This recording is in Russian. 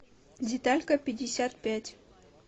деталька пятьдесят пять